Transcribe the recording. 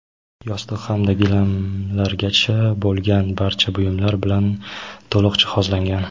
yostiq hamda gilamlargacha bo‘lgan barcha buyumlar bilan to‘liq jihozlangan.